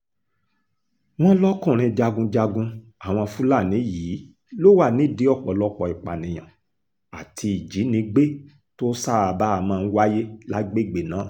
wọ́n lọ́kùnrin jagunjagun àwọn fúlàní yìí ló wà nídìí ọ̀pọ̀lọpọ̀ ìpànìyàn àti ìjínigbé tó ṣáàbà máa ń wáyé lágbègbè náà